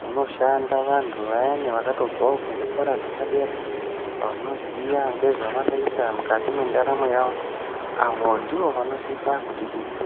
munoshanda vantu vayani vakatobvawo kuzvikora zvepadera vanoziya ngezvevanoita mukati mendaramo yavo, avo ndivo vanosisa kutidetsera.